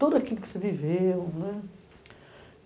Tudo aquilo que você viveu, né?